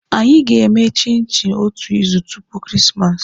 Anyị ga-eme chinchi otu izu tupu Christmas.